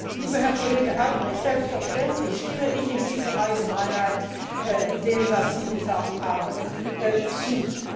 Lieber Herr Kollege Albrecht, selbstverständlich stimme ich in dieser Allgemeinheit dem, was Sie gesagt haben, zu.